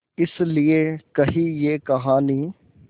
इस लिये कही ये कहानी